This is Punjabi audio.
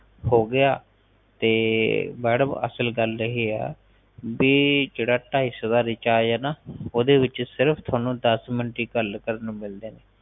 ਹੋਗਿਆ ਤੇ ਮੈਡਮ ਅਸਲ ਗੱਲ ਇਹ ਹੈ ਬੀ ਜਿਹੜਾ ਢਾਈ ਸੋ ਦਾ ਰਿਚਾਰਜ ਹੈ ਨਾ ਉੱਚ ਸਿਰਫ ਤੁਹਾਨੂੰ ਦਾਸ ਮਿੰਟ ਹੀ ਗੱਲ ਕਰਨ ਨੂੰ ਮਿਲਦੇ ਨੇ